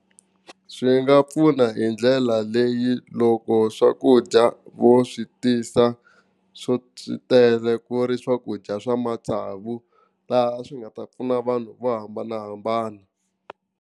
Swi nga pfuna hi ndlela leyi loko swakudya vo swi tisa swo, swi tele ku ri swakudya swa matsavu laha swi nga ta pfuna vanhu vo hambanahambana.